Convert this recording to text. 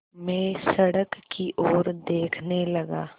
मैं सड़क की ओर देखने लगा